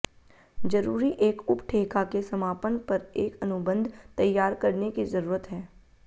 जरूरी एक उपठेका के समापन पर एक अनुबंध तैयार करने की जरूरत है